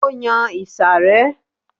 Ó yan ìsàré